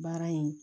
Baara in